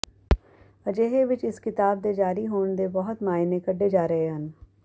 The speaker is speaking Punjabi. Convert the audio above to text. ਅਜਿਹੇ ਵਿੱਚ ਇਸ ਕਿਤਾਬ ਦੇ ਜਾਰੀ ਹੋਣ ਦੇ ਬਹੁਤ ਮਾਇਨੇ ਕੱਢੇ ਜਾ ਰਹੇ ਹਨ